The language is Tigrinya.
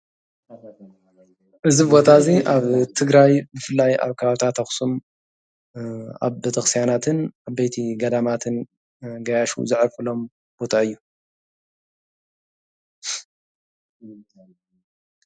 እዚ ቦታ እዚ ኣብ ትግራይ ብፍላይ ኣብ ከባቢታት ኣክሱም ኣብ ቤተክርስትያናትን ዓበይቲ ገዳማትን ጋያሹ ዘዕርፍሎም ቦታ እዩ፡፡